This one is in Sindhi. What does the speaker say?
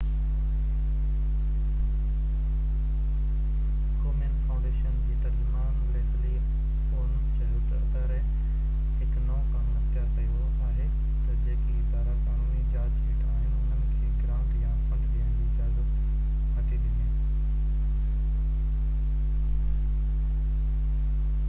ڪومين فائونڊيشن جي ترجمان ليسلي عون چيو تہ اداري هڪ نئو قانون اختيار ڪيو آهي تہ جيڪي ادارا قانوني جاچ هيٺ آهن انهن کي گرانٽ يا فنڊ ڏيڻ جي اجازت نٿو ڏي